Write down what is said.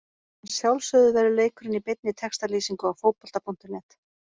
Að sjálfsögðu verður leikurinn í beinni textalýsingu á Fótbolta.net.